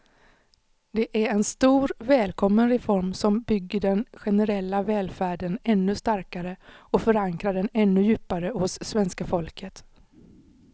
Det är en stor, välkommen reform som bygger den generella välfärden ännu starkare och förankrar den ännu djupare hos svenska folket.